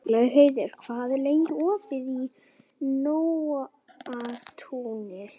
Laugheiður, hvað er lengi opið í Nóatúni?